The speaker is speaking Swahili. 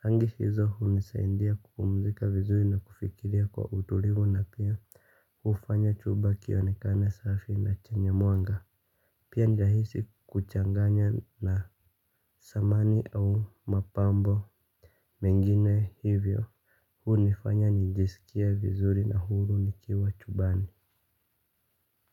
Rangi hizo hunisaidia kupumzika vizuri na kufikiria kwa utulivu na pia. Hufanya chumba kionekane safi na chenye mwanga. Pia nahisi kuchanganya na samani au mapambo mengine hivyo hunifanya nijisikia vizuri na huru nikiwa chumbani.